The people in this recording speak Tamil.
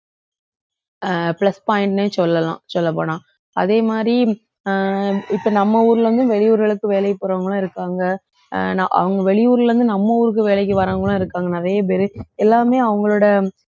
அஹ் plus point ன்னே சொல்லலாம் சொல்லப் போனா. அதே மாதிரி அஹ் இப்ப நம்ம ஊர்ல இருந்து வெளியூர்களுக்கு வேலைக்கு போறவங்களும் இருக்காங்க. அஹ் நான் அவங்க வெளியூர்ல இருந்து நம்ம ஊருக்கு வேலைக்கு வர்றவங்க எல்லாம் இருக்காங்க நிறைய பேரு. எல்லாமே அவங்களோட